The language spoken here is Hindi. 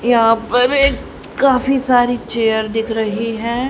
यहां पर ये काफी सारी चेयर दिख रही हैं।